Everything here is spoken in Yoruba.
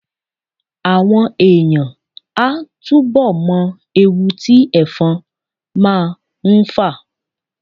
Àwọn èèyàn á túbọ̀ mọ ewu tí ẹ̀fọn máa ń fà